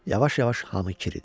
Yavaş-yavaş hamı kiridi.